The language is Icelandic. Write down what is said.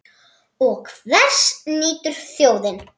Og hvers nýtur þjóðin?